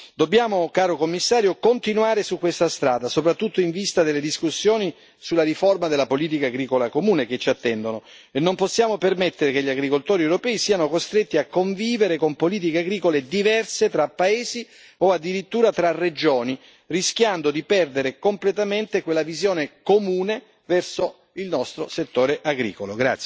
Dobbiamo, caro Commissario, continuare su questa strada, soprattutto in vista delle discussioni sulla riforma della politica agricola comune che ci attendono e non possiamo permettere che gli agricoltori europei siano costretti a convivere con politiche agricole diverse tra paesi, o addirittura tra regioni, rischiando di perdere completamente quella visione comune verso il nostro settore agricolo.